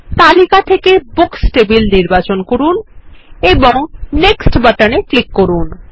তালিকা থেকে books table নির্বাচন করুন এবং নেক্সট বাটনে ক্লিক করুন